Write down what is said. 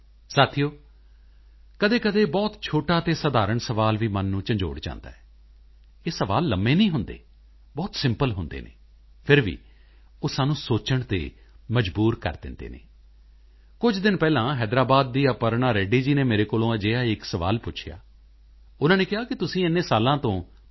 ਸਾਥੀਓ ਕਦੇਕਦੇ ਬਹੁਤ ਛੋਟਾ ਤੇ ਸਧਾਰਣ ਸਵਾਲ ਹੀ ਮਨ ਨੂੰ ਝੰਜੋੜ ਜਾਂਦਾ ਹੈ ਇਹ ਸਵਾਲ ਲੰਬੇ ਨਹੀਂ ਹੁੰਦੇ ਬਹੁਤ ਸਿੰਪਲ ਹੁੰਦੇ ਹਨ ਫਿਰ ਵੀ ਉਹ ਸਾਨੂੰ ਸੋਚਣ ਤੇ ਮਜਬੂਰ ਕਰ ਦਿੰਦੇ ਹਨ ਕੁਝ ਦਿਨ ਪਹਿਲਾਂ ਹੈਦਰਾਬਾਦ ਦੀ ਅਪਰਣਾ ਰੈੱਡੀ ਜੀ ਨੇ ਮੇਰੇ ਕੋਲੋਂ ਅਜਿਹਾ ਹੀ ਇੱਕ ਸਵਾਲ ਪੁੱਛਿਆ ਉਨ੍ਹਾਂ ਨੇ ਕਿਹਾ ਕਿ ਤੁਸੀਂ ਇੰਨੇ ਸਾਲ ਤੋਂ ਪੀ